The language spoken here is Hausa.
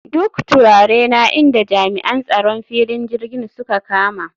Duk turarena inda jami'an tsaron filin jirgin suka kama